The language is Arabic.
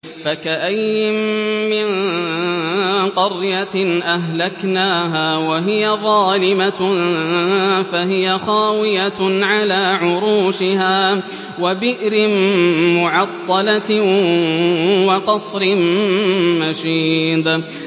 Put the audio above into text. فَكَأَيِّن مِّن قَرْيَةٍ أَهْلَكْنَاهَا وَهِيَ ظَالِمَةٌ فَهِيَ خَاوِيَةٌ عَلَىٰ عُرُوشِهَا وَبِئْرٍ مُّعَطَّلَةٍ وَقَصْرٍ مَّشِيدٍ